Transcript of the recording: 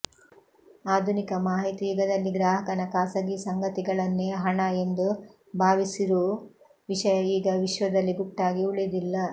ಆಧುನಿಕ ಮಾಹಿತಿ ಯುಗದಲ್ಲಿ ಗ್ರಾಹಕನ ಖಾಸಗಿ ಸಂಗತಿಗಳನ್ನೆ ಹಣ ಎಂದು ಭಾವಿಸಿರುವು ವಿಷಯ ಈಗ ವಿಶ್ವದಲ್ಲಿ ಗುಟ್ಟಾಗಿ ಉಳಿದಿಲ್ಲ